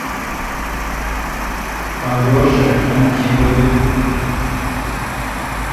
алеше антипове